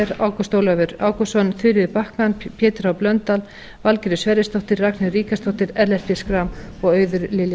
möller ágúst ólafur ágústsson þuríður backman pétur h blöndal valgerður sverrisdóttir ragnheiður ríkharðsdóttir ellert b schram og auður lilja